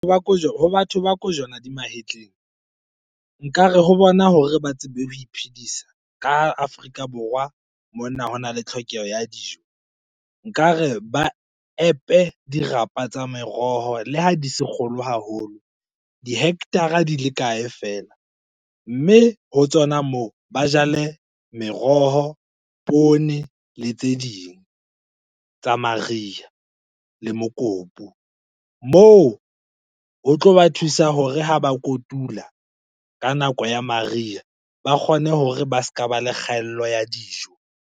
Ho ba ho batho ba kojwana di mahetleng, nkare ho bona hore ba tsebe ho iphedisa. Ka ha Afrika Borwa mona hona le tlhokeho ya dijo, nkare ba epe dirapa tsa meroho le ha di se kgolo haholo. Di-hectare-a di le kae feela. Mme ho tsona moo ba jale meroho, poone le tse ding tsa mariha le mokopu. Moo ho tlo ba thusa hore ha ba kotula ka nako ya mariha, ba kgone hore ba ska ba le kgaello ya dijo.